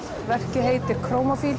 verkið heitir